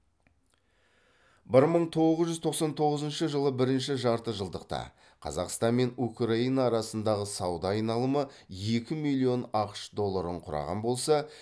бір мың тоғыз жүз тоқсан тоғызыншы жылы бірінші жарты жылдықта қазақстан мен украина арасындағы сауда айналымы екі миллион ақш долларын құраған болса